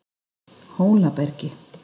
Hólabergi